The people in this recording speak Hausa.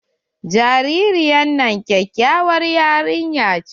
Jaririyar nan kyakyawar yarinya ce.